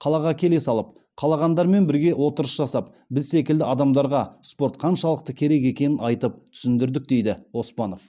қалаға келе салып қалағандармен бірге отырыс жасап біз секілді адамдарға спорт қаншалықты керек екенін айтып түсіндірдік дейді оспанов